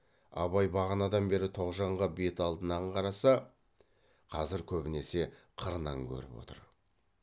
абай бағанадан бері тоғжанға бет алдынан қараса қазір көбінесе қырынан көріп отыр